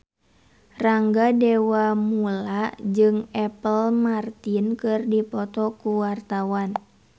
Rangga Dewamoela jeung Apple Martin keur dipoto ku wartawan